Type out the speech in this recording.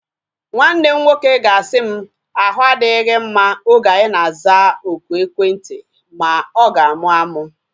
Nwanne m nwoke ga-asị m, ahu adịghị gị mma oge anyi na-aza oku ekwentị ma ọ ga-amụ amụ